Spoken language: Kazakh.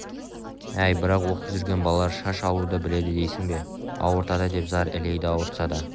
әй бірақ оқып жүрген балалар шаш алуды біледі дейсің бе ауыртады деп зар илейді ауыртса да